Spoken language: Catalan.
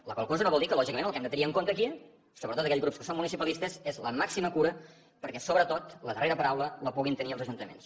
la qual cosa no vol dir que lògicament el que hem de tenir en compte aquí sobretot aquells grups que som municipalistes és la màxima cura perquè sobretot la darrera paraula la puguin tenir els ajuntaments